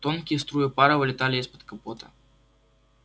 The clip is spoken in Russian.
тонкие струи пара вылетали из-под капота